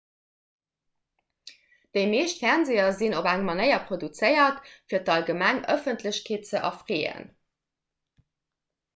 déi meescht fernseeër sinn op eng manéier produzéiert fir d'allgemeng ëffentlechkeet ze erfreeën